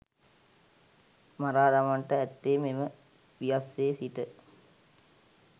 මරා දමන්නට ඇත්තේ මෙම පියස්සේ සිට